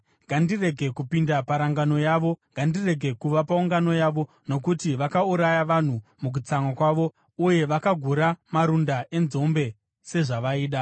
Ngandirege kupinda parangano yavo, ngandirege kuva paungano yavo, nokuti vakauraya vanhu mukutsamwa kwavo uye vakagura marunda enzombe sezvavaida.